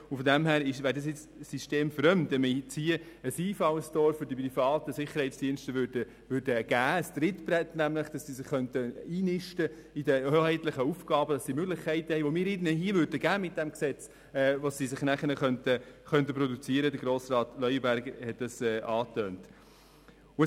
Diesbezüglich wäre es systemfremd, wenn es nun hier mit diesem Gesetz ein Einfallstor für die privaten Sicherheitsdienste geben würde, ein Trittbrett, mit dem sie sich in den hoheitlichen Aufgaben einnisten könnten und Möglichkeiten hätten, sich nachher damit zu produzieren, wie Grossrat Leuenberger angetönt hat.